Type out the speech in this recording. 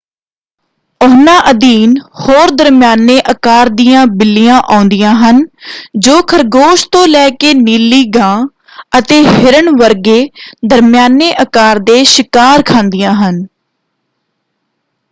ਉਹਨਾਂ ਅਧੀਨ ਹੋਰ ਦਰਮਿਆਨੇ ਆਕਾਰ ਦੀਆਂ ਬਿੱਲੀਆ ਆਉਂਦੀਆਂ ਹਨ ਜੋ ਖਰਗੋਸ਼ ਤੋਂ ਲੈ ਕੇ ਨੀਲੀ ਗਾਂ ਅਤੇ ਹਿਰਨ ਵਰਗੇ ਦਰਮਿਆਨੇ ਆਕਾਰ ਦੇ ਸ਼ਿਕਾਰ ਖਾਂਦੀਆਂ ਹਨ।